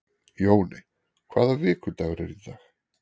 Jóney, hvaða vikudagur er í dag?